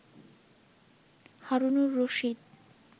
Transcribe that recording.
Harunur Rashid